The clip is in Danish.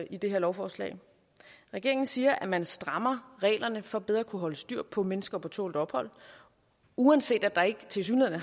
i det her lovforslag regeringen siger at man strammer reglerne for bedre at kunne holde styr på mennesker på tålt ophold uanset at der tilsyneladende